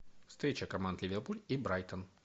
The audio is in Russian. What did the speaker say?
встреча команд ливерпуль и брайтон